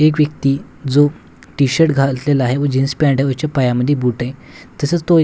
एक व्यक्ती जो टीशर्ट घातलेला आहे व जीन्स पॅंट आहे वच्या पायामध्ये बूट आहे तसच तो एक --